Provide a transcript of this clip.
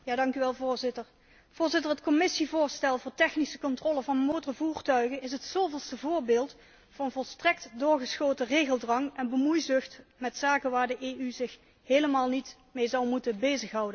Voorzitter, het Commissievoorstel voor technische controle van motorvoertuigen is het zoveelste voorbeeld van volstrekt doorgeschoten regeldwang en bemoeizucht met zaken waarmee de EU zich helemaal niet mee zou moeten bezighouden.